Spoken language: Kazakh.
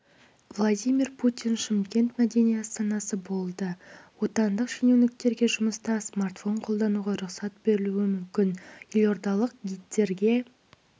владимир путин шымкент мәдени астанасы болады отандық шенеуніктерге жұмыста смартфон қолдануға рұқсат берілуі мүмкін елордалық гидтерге